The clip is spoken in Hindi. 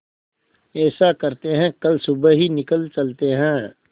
ऐसा करते है कल सुबह ही निकल चलते है